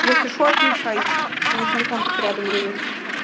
если что отмечайте у меня телефон тут рядом лежит